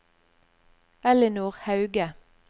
Ellinor Hauge